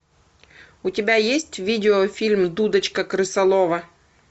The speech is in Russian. у тебя есть видеофильм дудочка крысолова